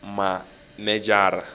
mejara